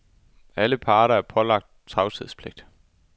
Alle parter er pålagt tavshedspligt.